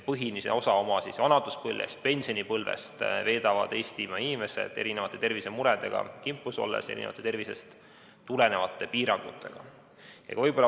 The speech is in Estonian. Põhilise osa oma vanaduspõlvest, pensionipõlvest, veedavad Eestimaa inimesed tervisemuredega kimpus olles, tervisest tulenevate piirangutega.